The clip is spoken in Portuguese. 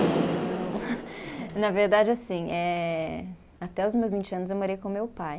Não, na verdade assim, eh até os meus vinte anos eu morei com meu pai.